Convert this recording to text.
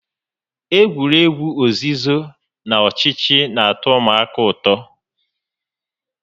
Egwuregwu ozizo na ọchịchọ n'atọ ụmụaka ụtọ